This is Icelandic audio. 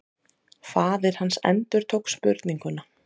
Faðir hans endurtók spurninguna.